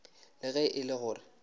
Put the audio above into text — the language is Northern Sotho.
le ge e le gore